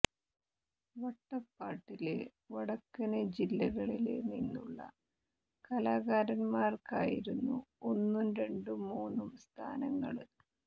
വട്ടപ്പാട്ടില് വടക്കന് ജില്ലകളില് നിന്നുള്ള കലാകാരന്മാര്ക്കായിരുന്നു ഒന്നും രണ്ടും മൂന്നും സ്ഥാനങ്ങള്